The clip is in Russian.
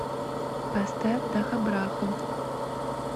поставь дахабраху